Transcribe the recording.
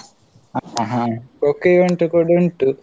ಹಾ Kho kho event ಕೂಡಾ ಉಂಟು.